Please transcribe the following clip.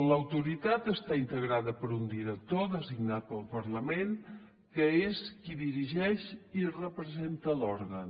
l’autoritat està integrada per un director designat pel parlament que és qui dirigeix i representa l’òrgan